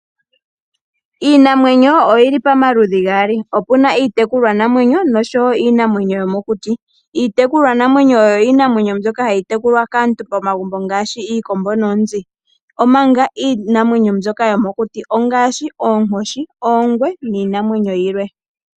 Iinamwenyo oyili pamaludhi gaali, opuna iitekulwanamwenyo nosho wo iinamwenyo yomokuti. Iitekulwanamwenyo oyo iinamwenyo mbyoka hayi tekulwa kaantu momagumbo ngaashi iikombo noonzi omanga iinamwenyo yomokuti ongaashi oonkoshi, oongwe niinamwenyo yilwe.